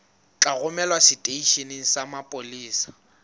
tla romelwa seteisheneng sa mapolesa